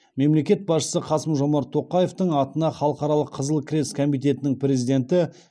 мемлекет басшысы қасым жомарт тоқаевтың атына халықаралық қызыл крест комитетінің президенті